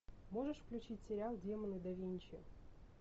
можешь включить сериал демоны да винчи